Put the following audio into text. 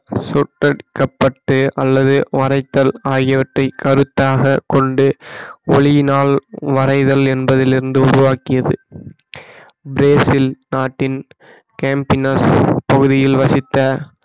சுட்டடிக்கபட்டு அல்லது வரைத்தல் ஆகியவற்றை கருத்தாக கொண்டு ஒளியினால் வரைதல் என்பதிலிருந்து உருவாக்கியது பிரேசில் நாட்டின் கேம்பினஸ் பகுதியில் வசித்த